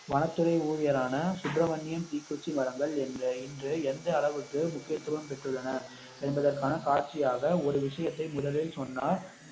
வனத்துறை ஊழியர் ஆன சுப்பிரமணியம் தீக்குச்சி மரங்கள் இன்ற எந்த அளவுக்கு முக்கியத்துவம் பெற்றுள்ளன என்பதற்கான காட்சியாக ஒரு விஷயத்தை முதலில் சொன்னார்